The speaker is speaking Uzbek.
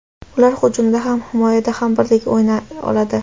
Ular hujumda ham, himoyada ham birdek o‘ynay oladi.